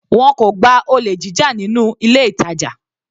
Wọn kò gba olè jíjà nínú ilé ìtàjà.